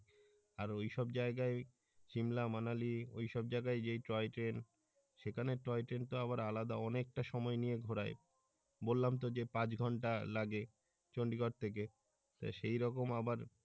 আর ওইসব জায়গায় শিমলা মানালি ওইসব জায়গায় যে টয় ট্রেন সেখানের টয় ট্রেন কিন্তু আবার আলাদা অনেক টা সময় নিয়ে ঘোরায় বললাম তো যে পাঁচ ঘন্টা লাগে চন্ডিগর থেকে তো সেই রকম আবার